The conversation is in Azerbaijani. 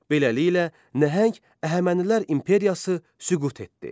Beləliklə, nəhəng Əhəmənilər imperiyası süqut etdi.